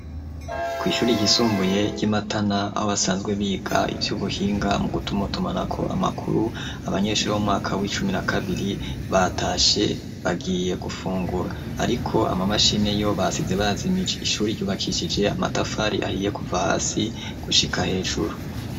Kw'ishure ryisumbuye ry'i Matana aho basanzwe biga ivy'ubuhinga mu gutumatumanako amakuru abanyeshure bo mu mwaka w'icumi na kabiri batashe bagiye gufungura ariko amamashini yo basize bayajimije ishure ryubakishije amatafari ahiye kuva hasi gushika hejuru.